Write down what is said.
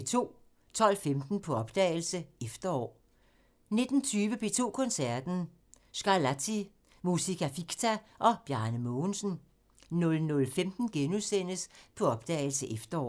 12:15: På opdagelse – Efterår 19:20: P2 Koncerten – Scarlatti, Musica Ficta og Bjarke Mogensen 00:15: På opdagelse – Efterår *